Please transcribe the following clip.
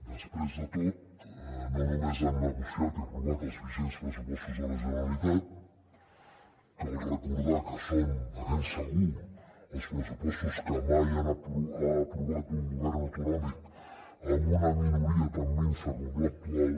després de tot no només han negociat i aprovat els vigents pressupostos de la generalitat cal recordar que són de ben segur els pressupostos que mai ha aprovat un govern autonòmic amb una minoria tan minsa com l’actual